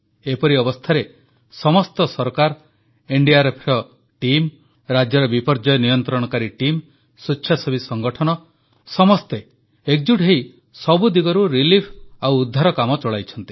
ଏପରି ଅବସ୍ଥାରେ ସମସ୍ତ ସରକାର ଏନଡିଆରଏଫ ଟିମ୍ ରାଜ୍ୟର ବିପର୍ଯ୍ୟୟ ନିୟନ୍ତ୍ରଣକାରୀ ଟିମ୍ ସ୍ୱେଚ୍ଛାସେବୀ ସଂଗଠନ ସମସ୍ତେ ଏକଜୁଟ୍ ହୋଇ ସବୁ ଦିଗରୁ ରିଲିଫ୍ ଓ ଉଦ୍ଧାର କାମ ଚଳାଇଛନ୍ତି